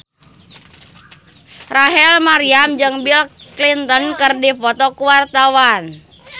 Rachel Maryam jeung Bill Clinton keur dipoto ku wartawan